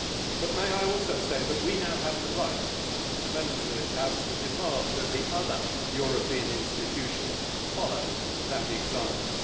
But I would also say that we now have the right, as Members of this House, to demand that the other European institutions follow that example.